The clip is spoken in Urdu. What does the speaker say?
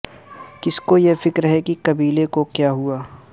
کس کو یہ فکر ہے کہ قبیلے کو کیا ہوا